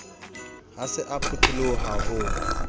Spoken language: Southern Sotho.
ha se a phutholoha ho